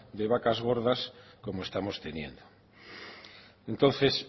de vacas gordas como estamos teniendo entonces